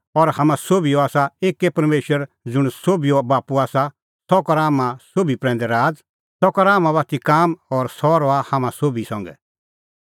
हाम्हां सोभिओ आसा एक्कै परमेशर ज़ुंण सोभिओ बाप्पू आसा सह करा हाम्हां सोभी प्रैंदै राज़ सह करा हाम्हां बाती काम और सह रहा हाम्हां सोभी संघै